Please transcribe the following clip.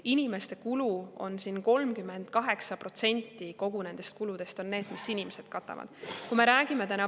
Inimesed katavad nendest kuludest 38%.